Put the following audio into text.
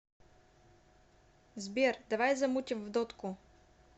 сбер давай замутим в дотку